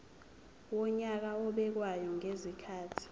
wonyaka obekwayo ngezikhathi